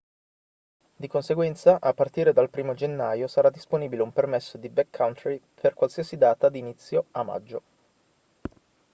di conseguenza a partire dal 1° gennaio sarà disponibile un permesso di backcountry per qualsiasi data d'inizio a maggio